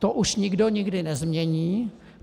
To už nikdo nikdy nezmění.